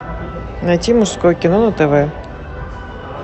найти мужское кино на тв